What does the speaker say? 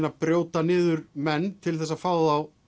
að brjóta niður menn til þess að fá þá